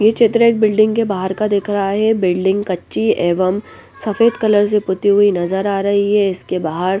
ये चित्र एक बिल्डिंग के बाहर का दिख रहा है बिल्डिंग कच्ची एवं सफ़ेद कलर से पुती हुई नजर आ रही है इसके बाहर --